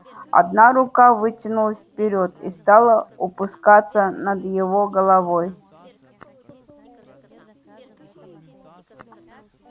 одна рука вытянулась вперёд и стала опускаться над его головой